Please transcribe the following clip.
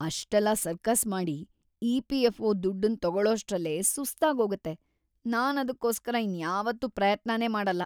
ಅಷ್ಟೆಲ್ಲ ಸರ್ಕಸ್‌ ಮಾಡಿ ಇ.ಪಿ.ಎಫ್.ಒ. ದುಡ್ಡನ್ ತಗೊಳೋಷ್ಟ್ರಲ್ಲೇ ಸುಸ್ತಾಗೋಗತ್ತೆ, ನಾನದ್ಕೋಸ್ಕರ ಇನ್ಯಾವತ್ತೂ ಪ್ರಯತ್ನನೇ ಮಾಡಲ್ಲ.